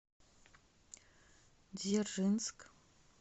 дзержинск